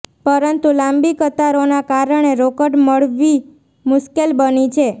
પરંતુ લાંબી કતારોના કારણે રોકડ મળવી મુશ્કેલ બની છે